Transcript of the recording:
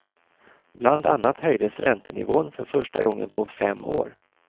Bland annat höjdes räntenivån för första gången på fem år.